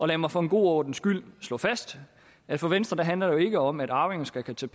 lad mig for god ordens skyld slå fast at for venstre handler det jo ikke om at arvinger skal kunne tage